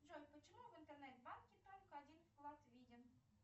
джой почему в интернет банке только один вклад виден